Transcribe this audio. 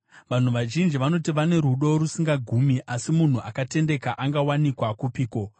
Vanhu vazhinji vanoti vane rudo rusingagumi, asi munhu akatendeka angawanikwa kupiko?